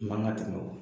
I man ka tɛmɛ o kan